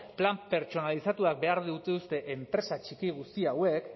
plan pertsonalizatuak behar dituzte enpresa txiki guzti hauek